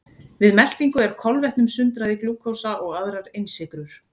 Við meltingu er kolvetnum sundrað í glúkósa og aðrar einsykrur.